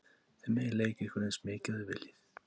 Þið megið leika ykkur eins mikið og þið viljið.